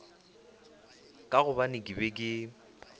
ka gobane ke be ke